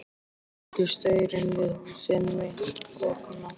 Skyldi staurinn við húsið mitt bogna?